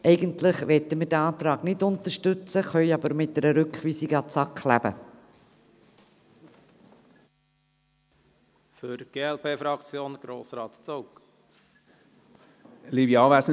Eigentlich möchten wir diesen Antrag nicht unterstützen, wir können aber mit einer Rückweisung an die SAK leben.